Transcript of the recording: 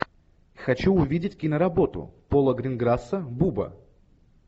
хочу увидеть киноработу пола гринграсса буба